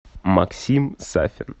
максим сафин